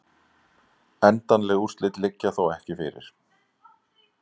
Endanleg úrslit liggja þó ekki fyrir